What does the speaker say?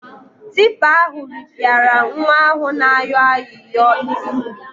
Tipa ahụ rịpịara nwa ahụ na-ayọ ayịyọ isi.